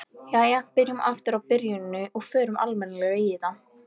Jæja, byrjum aftur á byrjuninni og förum almennilega í þetta.